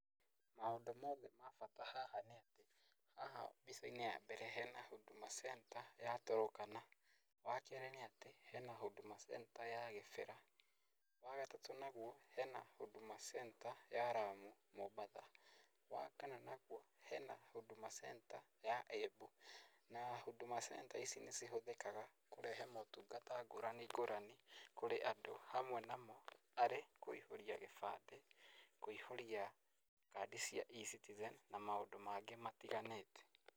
Maũndũ mothe ma bata haha nĩ atĩ, haha mbicainĩ ya mbere hena Huduma Center ya Turukana, wakerĩ nĩ atĩ hena Huduma Center ya Kĩbĩra, wagatatũ naguo hena Huduma Center ya Lamu, Mombatha. Wakana naguo hena Huduma Center ya Embu na Huduma Center ici nĩcihũthĩkaga kũrehe motungata ngũrani ngũrani kũrĩ andũ hamwe namo arĩ kũihũria gĩbandĩ, kũihũria kandi cia e-citizen na maũndũ mangĩ matiganĩte.